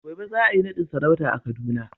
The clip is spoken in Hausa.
gobe za a yi nadin sarauta a Kaduna.